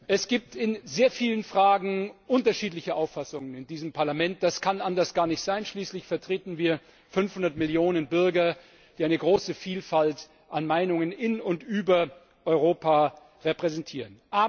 Es gibt in sehr vielen Fragen unterschiedliche Auffassungen in diesem Parlament. Das kann anders gar nicht sein, denn schließlich vertreten wir 500 Millionen Bürger, die eine große Vielfalt an Meinungen in und über Europa repräsentieren.